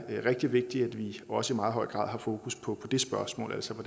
rigtig vigtigt at vi også i meget høj grad har fokus på det spørgsmål altså på